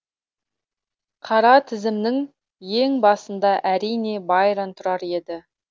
қара тізімнің ең басында әрине байрон тұрар еді